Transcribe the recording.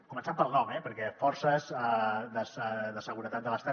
començant pel nom eh perquè forces de seguretat de l’estat